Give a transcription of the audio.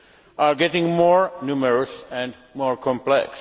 are getting more numerous and more complex.